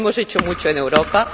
Hemos hecho mucho en Europa.